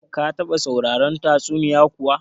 Ka taba sauraron tatsuniya kuwa?